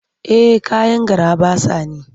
Eh kayan garaɓasa ne.